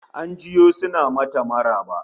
An jiyo suna mata maraba